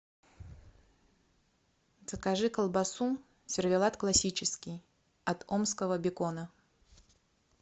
закажи колбасу сервелат классический от омского бекона